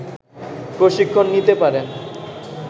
প্রশিক্ষণ নিতে পারেন